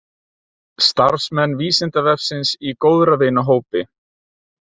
Starfsmenn Vísindavefsins í góðra vina hópi.